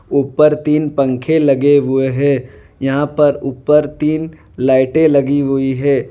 ऊपर तीन पंखे लगे हुए हैं यहां पर ऊपर तीन लाइटें लगी हुई है।